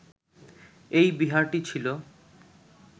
এই বিহারটি ছিল